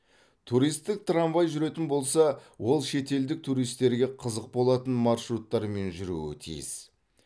туристік трамвай жүретін болса ол шетелдік туристерге қызық болатын маршруттармен жүруі тиіс